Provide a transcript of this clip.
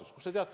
Kust te teate?